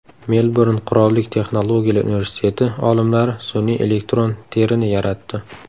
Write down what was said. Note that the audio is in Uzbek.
Melburn qirollik texnologiyalar universiteti olimlari sun’iy elektron terini yaratdi.